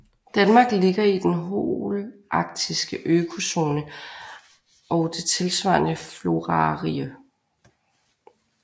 Danmark ligger i den holaktiske økozone og det tilsvarende florarige